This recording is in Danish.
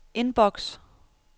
indboks